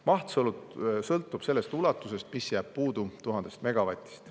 Maht sõltub sellest ulatusest, mis jääb puudu 1000 megavatist.